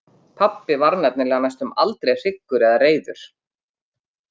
Pabbi varð nefnilega næstum aldrei hryggur eða reiður.